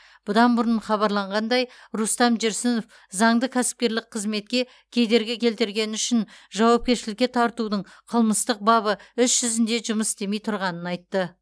бұдан бұрын хабарланғандай рустам жүрсінов заңды кәсіпкерлік қызметке кедергі келтіргені үшін жауапкершілікке тартудың қылмыстық бабы іс жүзінде жұмыс істемей тұрғанын айтты